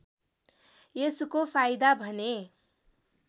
यसको फाइदा भने